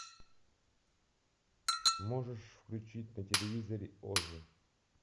можешь включить на телевизоре оз